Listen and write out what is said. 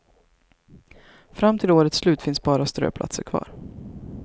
Fram till årets slut finns bara ströplatser kvar.